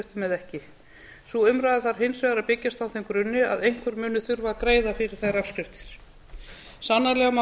eða ekki sú umræða þarf hins vegar að byggjast á þeim grunni að einhver muni þurfa að greiða fyrir þær afskriftir sannarlega má